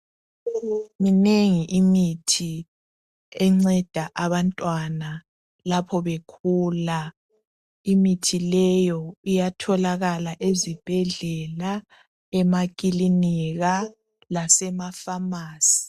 Minengi imithi enceda abantwana lapha bekhula. Imithi leyo, iyatholakala ezibhedlela, emakilinika. Lasemapharmacy.